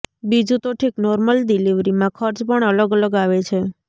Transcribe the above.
બીજું તો ઠીક નોર્મલ ડીલીવરીમાં ખર્ચ પણ અલગ અલગ આવે છે